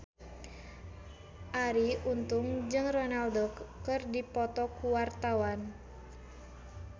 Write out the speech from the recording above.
Arie Untung jeung Ronaldo keur dipoto ku wartawan